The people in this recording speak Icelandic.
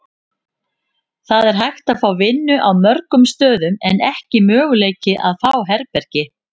Það er hægt að fá vinnu á mörgum stöðum en ekki möguleiki að fá herbergi.